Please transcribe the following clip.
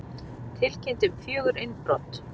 Tilkynnt um fjögur innbrot